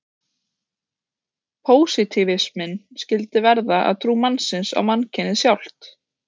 Pósitífisminn skyldi verða að trú mannsins á mannkynið sjálft.